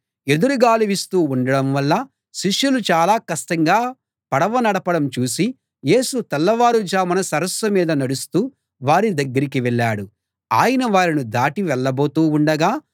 ఎదురుగాలి వీస్తూ ఉండడం వల్ల శిష్యులు చాలా కష్టంగా పడవ నడపడం చూసి యేసు తెల్లవారుజామున సరస్సు మీద నడుస్తూ వారి దగ్గరికి వెళ్ళాడు ఆయన వారిని దాటి వెళ్ళబోతూ ఉండగా